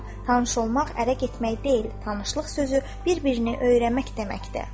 Tanış olmaq ərə getmək deyil, tanışlıq sözü bir-birini öyrənmək deməkdir.